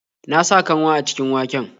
Na sa kanwa a cikin waken.